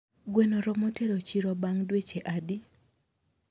Gweno romo tero e chiro bang dweche adi?